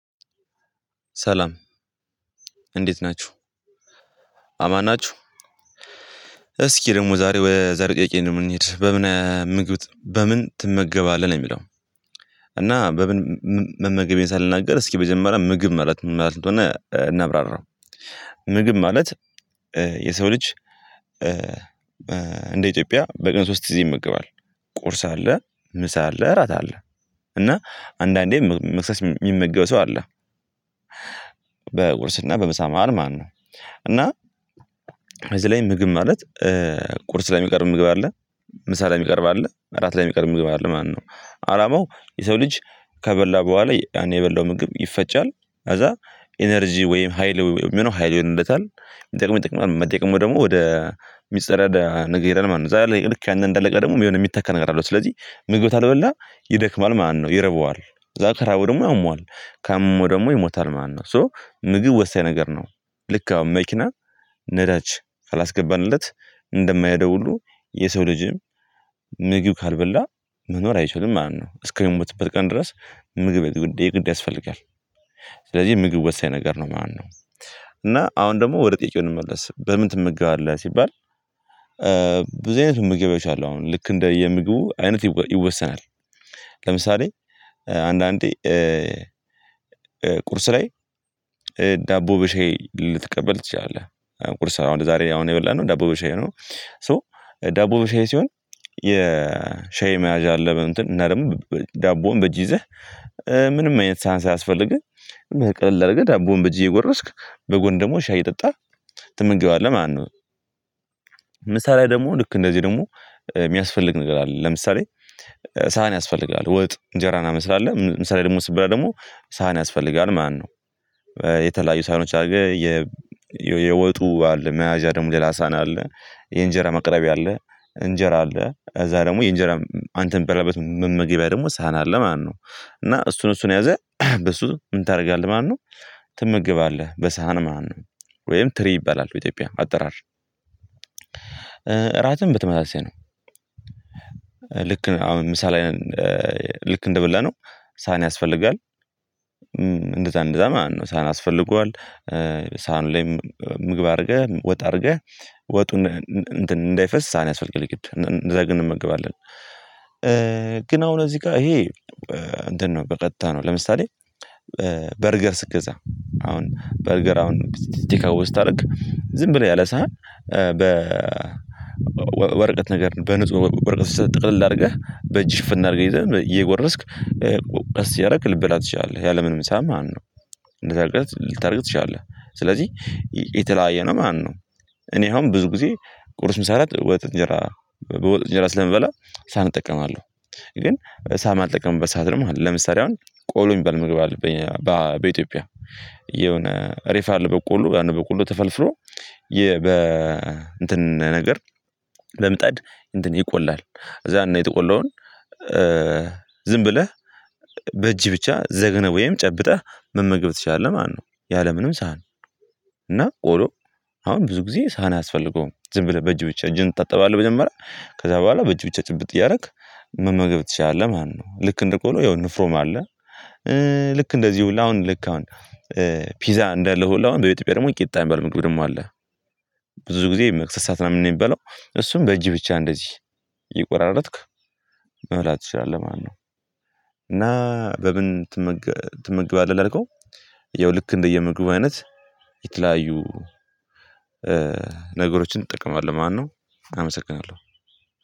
ሰላም እንዴት ናችሁ አማን ናችሁ? እስኪ ደግሞ ዛሬ ወይ ዛሬ ጥያቄ ነው እንንሂድ በምን ምግብ በምን ትመገባለህ ነው የሚለው እና በምን መመገብ ሳልናገር እስኪ መጀመሪያ ምግብ ማለት ምን ማለት እንደሆነ እናብራራው ምግብ ማለት የሰው ልጅ እንደ ኢትዮጵያ በቀን ሶስት ጊዜ ይመገባል ቁርስ አለ ምሳ አለ ራት አለ እና አንዳንዴ መክሰስ የሚመገብ ሰው አለ በቁርስና በምሳ መሃል ማነው እና እዚህ ላይ ምግብ ማለት ቁርስ ላይ የሚቀርብ ምግብ አለ ምሳ ላይ የሚቀርብ አለ እራት ላይ የሚቀርብ ምግብ አለ ማለት ነው አላማው የሰው ልጅ ከበላ በኋላ ያን የበላው ምግብ ይፈጫል ከዛ ኢነርጂ ወይም ሀይል የሚሆነው ሀይል ይሆንለታል የሚጠቅመው የሚጠቅመው ደግሞ ወደ ሚጸዳዳ ነገር ይሄዳል ማለት ነው ልክ ያንተ እንደለቀ ደግሞ የሚሆን የሚተካን አለው ስለዚህ ምግብ ታልበላ ይደክማል ማለት ነው ይርበዋል ከዛ ከራበው ደግሞ ያመዋል ካመመው ደግሞ ይሞታል ማለት ነው ሶ ምግብ ወሳኝ ነገር ነው ልክ አሁን መኪና ነዳጅ ካላስገባንለት እንደማይሄደው ሁሉ የሰው ልጅም ምግብ ካልበላ መኖር አይችልም ማለት ነው እስከምትበት ቀን ድረስ ምግብ የግድ ያስፈልጋል ስለዚህ ምግብ ወሳኝ ነገር ነው ማለት ነው እና አሁን ደግሞ ወደ ጥያቄው እንመለስ በምን ትመገባለህ ሲባል በዚህ አይነት ምግብ የቻለው አሁን ልክ እንደ የምግቡ አይነት ይወሰናል ለምሳሌ አንዳንዴ ቁርስ ላይ ዳቦ በሻይ ልትቀበል ትችላለህ ቁርስ ስራ አሁን ዛሬ አሁን የበላነው ዳቦ በሻይ ነው ሶ ዳቦ በሻይ ሲሆን የሻይ መያዣ አለበት እና ደግሞ ዳቦን በእጅ ይዘህ ምንም አይነት ሳህን ሳያስፈልግህ ቀለል ግን ዳቦን በጅህ የጎረስክ በጎን ደግሞ ሻይ የጠጣህ ትመገባለህ ማለት ነው ምሳ ላይ ደግሞ ልክ እንደዚህ ደግሞ የሚያስፈልግ ነገር አለ ለምሳሌ ሳህን ያስፈልጋል ወጥ እንጀራ ምናምን ስላለ ምሳ ላይ ደግሞ ሲበላ ደግሞ ሳህን ያስፈልጋል ማነው የተለያዩ ሳሎች አድርገህ የወጡ አለ መያዣ ደግሞ ሌላ ሳና አለ የእንጀራ መቅረቢያ አለ እንጀራ አለ እዛ ደግሞ የእንጀራ አንተ ምትበላበት መመገቢያ ደግሞ ሳህን አለ ማለት ነው እና እሱን እሱን ይዘህ በሱ ምን ታደርጋለህ ማነው ትመገባለህ በሳህን ማለት ነው ወይም ትሪ ይባላል በኢትዮጵያ አጠራር ራትን በተመሳሳይ ነው ልክ አሁን ምሳሌ ልክ እንደበላነው ሳን ያስፈልጋል እንደዛ እንደዛ ማን ነው ሳህን አስፈልጓል ሳህን ላይም ምግብ አድርገህ ወጥ አድርገህ ወጡን እንትን እንዳይፈስ ሳህን ያስፈልጋል እንደዛ ግን እንመገባለን ግን አሁን እዚህ ጋር ይሄ እንደነበር ቀጥታ ነው ለምሳሌ በርገር ስትገዛ አሁን በርገር አሁን ቴክ አዌይ ስታደርግ ዝም ብለህ ያለ ሳህን በ በወረቀት ነገር በንጹህ ወረቀት ጥቅልል አድርገህ በእጅ ሽፍን አርገህ ይዘህ እየጎረስክ ቀስ እያደርግ ልትበላ ትችላለህ ያለምንም ሳህን ማለት ነው እንደዛ ልታደርግ ልታደርግ ትችላለህ ስለዚህ የተለያየ ነው ማነው እኔ አሁን ብዙ ጊዜ ቁርስ ምሳሌ ወጥ እንጀራ ወጥ እንጀራ ስለምበላ ሳህን እጠቀማለሁ ግን ሳህን አልጠቀምበት ሰዓት ደግሞ ለምሳሌ አሁን ቆሎ የሚባል ምግብ አለብኝ በኢትዮጵያ የሆነ ሬፋል በቆሎ በቆሎ ተፈልፍሎ የ በ እንትን ነገር በምጣድ እንትን ይቆላል እዛ ነው የተቆለውን የተቆለውን ዝም ብለህ በእጅ ብቻ ዘግነህ ወይም ጨብጠህ መመገብ ትችላለህ ማነው ያለምንም ሳህን እና ቆሎ አሁን ብዙ ጊዜ ሳህን አያስፈልገውም ዝም ብለህ በእጅ ብቻ እጅን ታጠባለህ መጀመረያ ከዛ በኋላ በእጅ ብቻ ጭብጥ እያደረክ ምን መገብ ትችላለህ ማለት ነው ልክ እንደቆሎ የሆነ ንፍሮም አለ ልክ እንደዚህ ሁላ አሁን ልክ አሁን ፒዛ እንዳለው ሁሉ አሁን በቤተክርስቲያን ደግሞ ቂጣ የሚባል ምግብ ደግሞ አለ ብዙ ጊዜ መክሰስ ሰዓት ነው የሚበላው እሱን በእጅ ብቻ እንደዚህ እየቆራረጥክ መብላት ትችላለህ ማለት ነው እና በምን ትመግባለህ? ላልከው ያው ልክ እንደየምግቡ አይነት የተለያዩ ነገሮችን ትጠቀማለህ ማነው አመሰግናለሁ